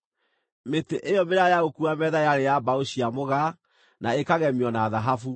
Mĩtĩ ĩyo mĩraaya ya gũkuua metha yarĩ ya mbaũ cia mũgaa, na ĩkagemio na thahabu.